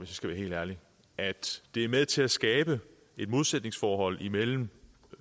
skal helt ærlig at det er med til at skabe et modsætningsforhold imellem